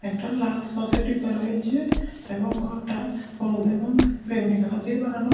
একটা লাল সসের ডিব্বা রয়েছে এবং ঘরটা হলুদ এবং বেগুনী কালার দিয়ে বানানো।